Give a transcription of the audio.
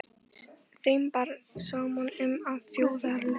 Þeim bar saman um, að þjóðarlöstur